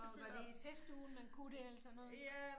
Var var det i festugen man kunne det eller sådan noget